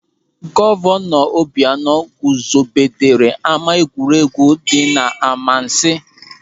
Gọvanọ Obianọ guzobere ama egwuregwu dị n'Amansiị.